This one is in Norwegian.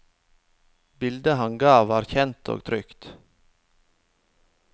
Bildet han ga var kjent og trygt.